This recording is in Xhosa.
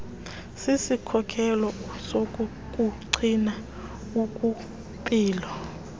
sisikhokelo sokukugcina ukwimpilo